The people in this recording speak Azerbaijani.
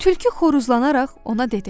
Tülkü xoruzlanaraq ona dedi: